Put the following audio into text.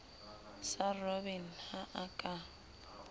sa robben ha a ka